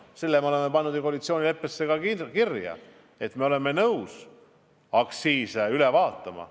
Selle me oleme ju koalitsioonileppesse ka kirja pannud, et me oleme nõus aktsiise üle vaatama.